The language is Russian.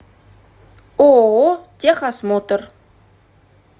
ооо техосмотр